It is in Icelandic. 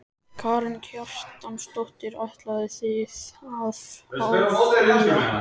Karen Kjartansdóttir: Ætlið þið að áfrýja?